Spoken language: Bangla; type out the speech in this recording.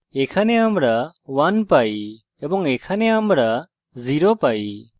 এখানে আমরা 1 পাই এবং এখানে আমরা 0 পাই